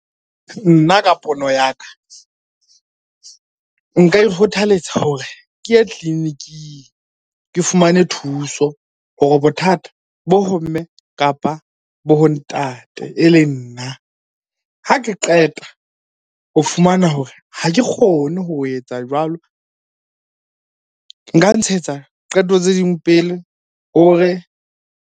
Nna ka pono ya ka, nka ikgothaletsa hore ke ye tleliniking ke fumane thuso hore bothata bo ho mme, kapa bo ho ntate, e leng nna. Ha ke qeta ho fumana hore ha ke kgone ho etsa jwalo, nka ntshetsa qeto tse ding pele hore.